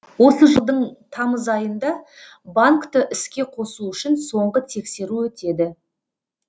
осы жылдың тамыз айында банкты іске қосу үшін соңғы тексеру өтеді